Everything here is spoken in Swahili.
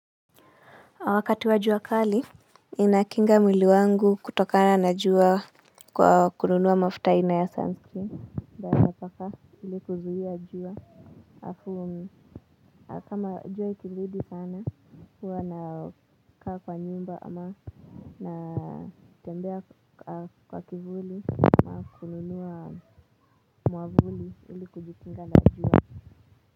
Wakati wa jua kali ninakinga mwili wangu kutokana na jua kwa kununua mafuta aina ya sunscreen nitaweza paka ili kuzuia jua alafu kama jua ikizidi sana huwa na kaa kwa nyumba ama na tembea kwa kivuli kununua mwavuli ili kujikinga na jua.